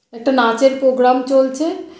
একটা নাচের প্রোগ্রাম চলছে।